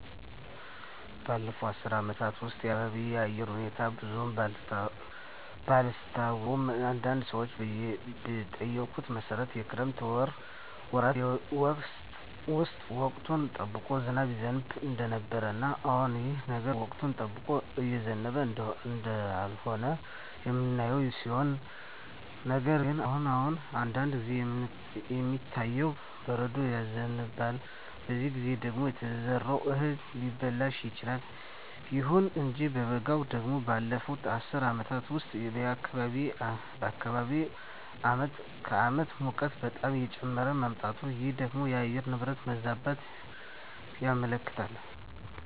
ባለፉት አስር አመታት ውስጥ የአካባቢየ የአየር ሁኔታ ብዙም ባላስታውሰውም አንዳንድ ሰዎችን በጠየኩት መሠረት የክረምት ወራት ጌዜ ውስጥ ወቅቱን ጠብቆ ዝናብ ይዘንብ እንደነበረ እና አሁንም ይህ ነገር ወቅቱን ጠብቆ እየዘነበ እንደሆነ የምናየው ሲሆን ነገር ግን አሁን አሁን አንዳንድ ጊዜ የሚታየው በረዶ ይዘንባል በዚህ ጊዜ ደግሞ የተዘራው እህል ሊበላሽ ይችላል። ይሁን እንጂ በበጋው ደግሞ ባለፋት አስር አመታት ውስጥ በአካባቢየ አመት ከአመት ሙቀቱ በጣም እየጨመረ መጧል ይህ ደግሞ የአየር ንብረት መዛባትን ያመለክታል